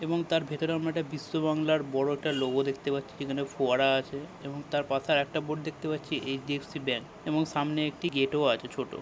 এবং তার ভেতরে আমরা একটা বিশ্ব বাংলার বড় একটা লোগো দেখতে পাচ্ছি যেখানে ফোয়ারা আছে এবং তার পাশে আরেকটা বোর্ড দেখতে পাচ্ছি এইছডিএফসি ব্যাঙ্ক এবং সামনে একটি গেটও আছে ছোটো।